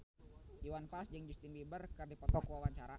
Iwan Fals jeung Justin Beiber keur dipoto ku wartawan